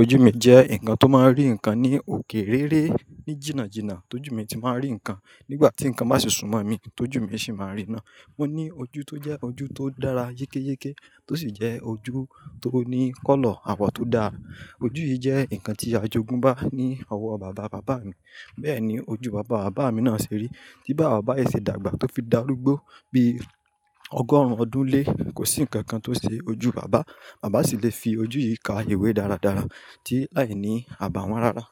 Ojú mi jẹ́ ǹkan tó máa ń rí ǹkan ní òkè réré ní jìnnàjìnnà, tó jù mi ti máa ń rí ǹkan nígbà tí ǹkan bá sùnmọ̀ mi tó jù mi sì máa rí ná. Mo ní ojú tó jẹ́ ojú tó dára yékéyéké tó sì jẹ́ ojú tó ní kọ́lọ̀ àwọ̀ tó dára. Ojú yìí jẹ́ ǹkan tí ajogún bá ní ọwọ́ bàba bàbá mi. Bẹ́ẹ̀ ni ojú bàba bàbá mi náà ṣe rí tí bá àwọn ọba ẹsẹ̀ dàgbà tó fi dàrúgbó bí ọgọ́rùn-ún ọdún lé, kò sí ǹkan kan tó ṣe ojú bàbá. Bàbá sì le fi ojú yìí ka ìwé dáradára tí láìní àbàwón rara.